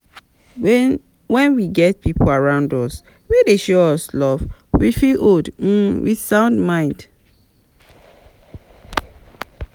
When we get pipo around us we dey show us love, we fit old um with sound mind